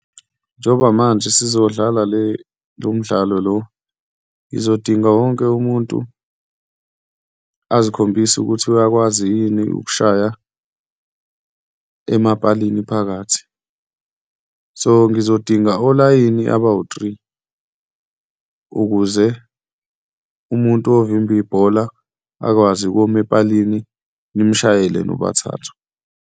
Njengoba manje sizodlala lo mdlalo lo, ngizodinga wonke umuntu azikhombise ukuthi uyakwazi yini ukushaya emapalini phakathi. So, ngizodinga olayini abawu-three ukuze umuntu ovimba ibhola akwazi ukuma epalini nimshayele nobathathu.